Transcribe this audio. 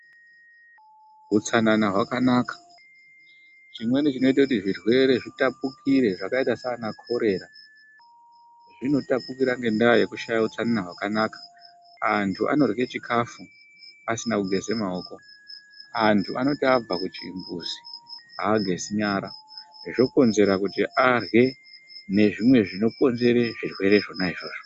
Utsanana hwakanaka, chimweni chinoita zvirwere zvitapukire zvakaita saaana korera zvinotapukira ngendaa yekushaya utsanana hwakanaka. Andu anorye chikafu asina kugeza maoko andu anoti abva kuchimbuzi aagezi nyara, zvokonzera kuti arye nezvimwe zvinokonzera zvirwere zvona izvozvo.